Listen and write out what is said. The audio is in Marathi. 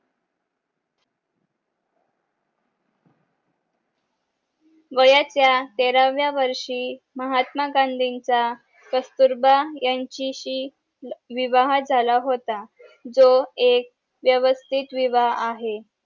वयाच्या तेराव्या वर्षी महात्मा गांधींचा कस्तुरबा ह्यांच्याशी विवाह झाला होता जो एक व्यवस्तीत विवाह आहे